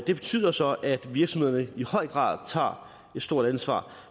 det betyder så at virksomhederne i høj grad tager et stort ansvar